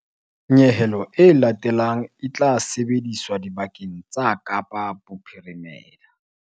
Nyehelo e latelang e tla sebediswa dibakeng tsa Kapa Bophirimela.